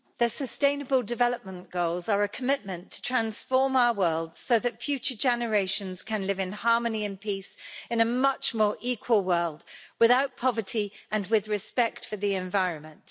Mr President, the Sustainable Development Goals are a commitment to transform our world so that future generations can live in harmony and peace in a much more equal world without poverty and with respect for the environment.